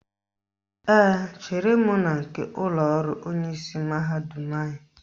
Ee, chere m na nke ụlọọrụ onyeisi mahadum anyị